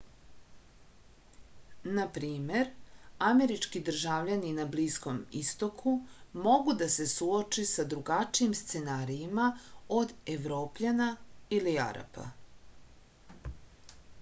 na primer američki državljani na bliskom istoku mogu da se suoče sa drugačijim scenarijima od evropljana ili arapa